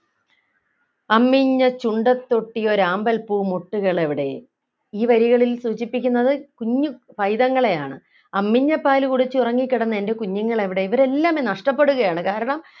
അമ്മിഞ്ഞച്ചുണ്ടത്തൊട്ടിയൊരാമ്പൽപ്പൂമൊട്ടുകളെവിടെ ഈ വരികളിൽ സൂചിപ്പിക്കുന്നത് കുഞ്ഞു പൈതങ്ങളെയാണ് അമ്മിഞ്ഞപാല് കുടിച്ചു ഉറങ്ങിക്കിടന്ന എൻ്റെ കുഞ്ഞുങ്ങൾ എവിടെ ഇവരെല്ലാം നഷ്ടപ്പെടുകയാണ് കാരണം